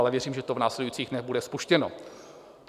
Ale věřím, že to v následujících dnech bude spuštěno.